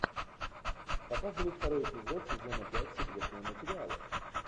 показывай второй эпизод сезона пять секретные материалы